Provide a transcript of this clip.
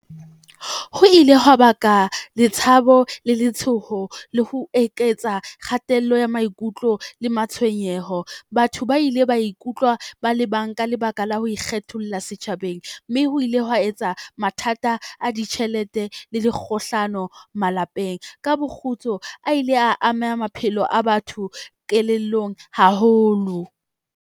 Ho ile hwa baka le tshabo le letshoho, le ho eketsa kgatello ya maikutlo le matshwenyeho. Batho ba ile ba ikutlwa ba le bang ka lebaka la ho ikgetholla setjhabeng, mme ho ile hwa etsa mathata a ditjhelete le dikgohlano malapeng. Ka bo kgutso, a ile a amea maphelo a batho kelellong haholo.